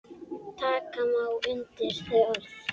Taka má undir þau orð.